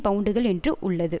பவுண்டுகள் என்று உள்ளது